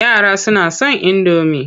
Yara suna son indomi.